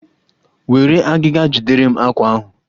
Were agịga jidere m àkwá ahụ!